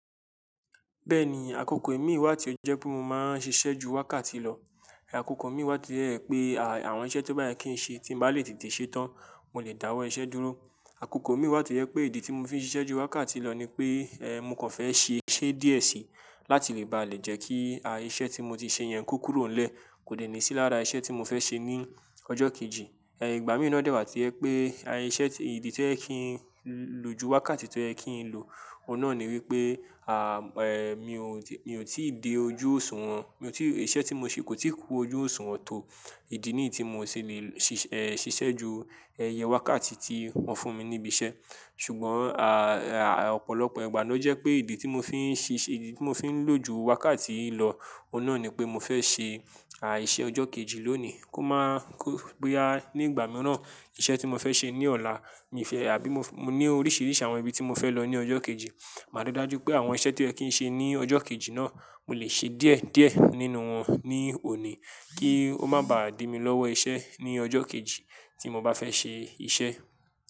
Bẹ́ẹ̀ni, àkókò mi wá ti ọ jẹ́ pé mo máa ń ṣiṣẹ́ ju wákàtí lọ. Ẹ̀ àkókò mi wá ti rẹ pé àwọn iṣẹ́ tó bá yẹ kí n ṣe tí mo bá lè tètè ṣetán, mo lè dáwọ́ iṣẹ́ dúró. Àkókò mi wá ti rẹ pé ìdí tí mo fi ń ṣiṣẹ́ ju wákàtí lọ ni pé ẹ mú kàn fẹ́ ṣe iṣẹ́ díẹ̀ sí láti lè báà lè jẹ́ kí iṣẹ́ tí mo ti ṣe yẹn kú kúrò lẹ́ẹ̀kò lè ní sí lára iṣẹ́ tí mo fẹ́ ṣe ní ọjọ́ kejì. Ẹ ìgbà mìíràn dẹ wá ti rẹ pé iṣẹ́ ìdí tí ẹ kín ló ju wákàtí tó ẹ kín ń lò, ọ̀nà ni wípé à ẹ mi ò tí ì dé ojú òsùwọ̀n. Mi ò tí ì iṣẹ́ tí mo ṣe kò tíì kú ojú òsùwọ̀n tó ìdí ní ì tí mo ṣì lè ṣiṣẹ́ ju ẹyẹ wákàtí tí wón fún mi níbí iṣẹ́. Ṣùgbọ́n à ọ̀pọ̀lọpọ̀ ìgbà ló jẹ́ pé ìdí tí mo fi ń ṣiṣẹ́ ìdí tí mo fi ń lò ju wákàtí yìí lọ, ọ̀nà ni pé mo fẹ́ ṣe à iṣẹ́ ọjọ́ kejì lónìí kó máa kó péá ní ìgbà mìíràn iṣẹ́ tí mo fẹ́ ṣe ní ọ̀la mi fẹ́ àbí mo ní oríṣiríṣi àwọn ibi tí mo fẹ́ lọ ní ọjọ́ kejì. Màá rí dájú pé àwọn iṣẹ́ tí ẹ kín ṣe ní ọjọ́ kejì náà, mo lè ṣe díẹ̀díẹ̀ nínú wọn ní òní kí ó má bá à di mí lọ́wọ́ iṣẹ́ ní ọjọ́ kejì tí mo bá fẹ́ ṣe iṣẹ́.